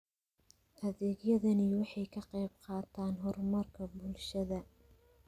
Adeegyadani waxay ka qayb qaataan horumarka bulshada.